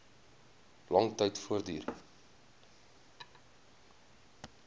lang tyd voortduur